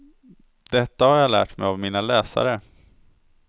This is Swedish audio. Detta har jag lärt mig av mina läsare.